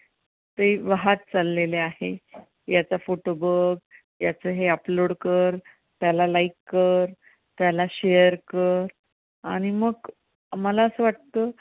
ते वाहत चाललेले आहेत याचा photo बघ, याच हे upload कर, त्याला like कर त्याला share कर आणि मग मला असं वाटतं.